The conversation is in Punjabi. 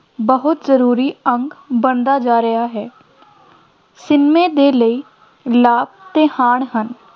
ਬਹੁਤ ਜ਼ਰੂਰੀ ਅੰਗ ਬਣਦਾ ਜਾ ਰਿਹਾ ਹੈ ਸਿਨੇਮੇ ਦੇ ਲਈ ਲਾਭ ਅਤੇ ਹਾਨ ਹਨ